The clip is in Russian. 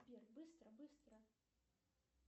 сбер быстро быстро